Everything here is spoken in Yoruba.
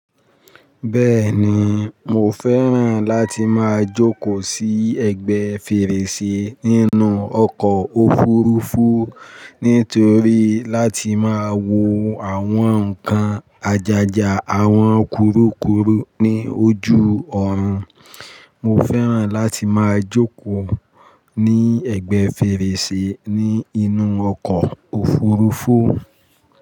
Bẹ́ẹ̀ni, mo fẹ́ràn láti máa jókòó sí ẹ̀gbẹ́ fèrèsé nínú ọkọ̀ òfurufú nítorí láti máa wo àwọn nǹkan àjàjà àwọn kurukuru ní ojú ọ̀run. Mo fẹ́ràn láti máa jókòó ní ẹ̀gbẹ́ fèrèsé ní inú ọkọ̀ òfurufú.